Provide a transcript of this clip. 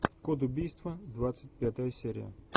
код убийства двадцать пятая серия